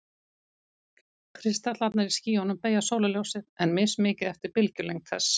Kristallarnir í skýjunum beygja sólarljósið, en mismikið eftir bylgjulengd þess.